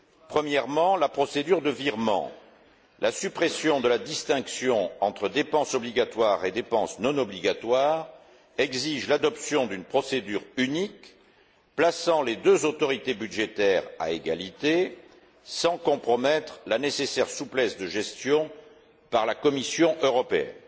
Premièrement, la procédure de virement la suppression de la distinction entre dépenses obligatoires et dépenses non obligatoires exige l'adoption d'une procédure unique, plaçant les deux autorités budgétaires à égalité, sans compromettre la nécessaire souplesse de gestion par la Commission européenne.